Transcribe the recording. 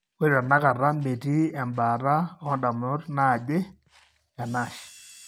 Ore tenakata, metii embaata oondamunot naaje eNASH.